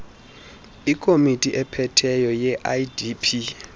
ikomiti ephetheyo yeidp